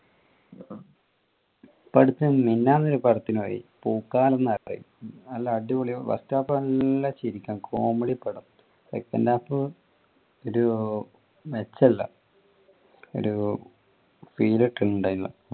പിന്നെ മിനിയാന്ന് ഒരു പടത്തിനു പോയി പൂക്കാലം, നല്ല അടിപൊളി first half നല്ല ചിരിക്കാൻ comedysecond half ഒരു മെച്ചം ഇല്ല. ഒരു